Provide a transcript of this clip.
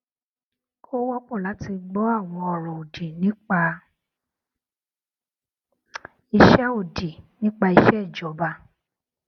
ó wọpọ láti gbọ àwọn ọrọ òdì nípa iṣẹ òdì nípa iṣẹ ìjọba